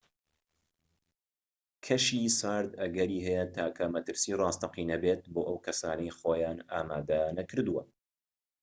کەشی سارد ئەگەری هەیە تاکە مەترسیی ڕاستەقینە بێت بۆ ئەو کەسانەی خۆیان ئامادە نەکردووە